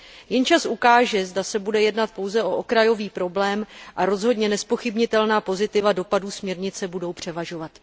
Jen čas ukáže, zda se bude jednat jen o okrajový problém a rozhodně nezpochybnitelná pozitiva dopadů směrnice budou převažovat.